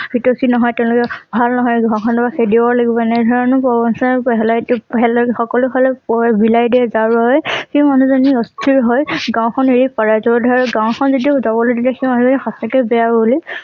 হিতৈষী নহয় তেওঁলোকে ভাল নহয় নহলে বা খেদিব লাগিব এনে ধৰণৰ প্ৰবঞ্চনা সকলো হলে বিলাই দিয়ে যাৰ বাবে সেই মানুহ জনি অস্থিৰ হৈ গাঁওখন এৰি পলাই যাব ধৰে আৰু গাঁওখন যেতিয়া যাবলৈ নিদিয়ে সেই মানুহ জনি সঁচাকৈয়ে বেয়া হব বুলি